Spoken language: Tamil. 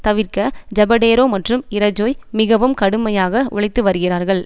தவிர்க்க ஜபடேரோ மற்றும் இரஜோய் மிகவும் கடுமையாக உழைத்து வருகிறார்கள்